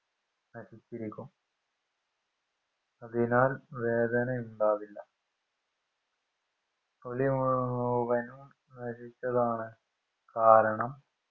നശിച്ചിരിക്കും അതിനാൽ വേദന ഉണ്ടാവില്ല തൊലി മുഴുവനും നശിച്ചതാണ് കാരണം